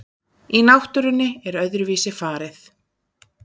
En náttúrunni er öðruvísi farið.